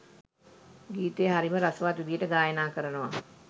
ගීතය හරිම රසවත් විදිහට ගායනා කරනවා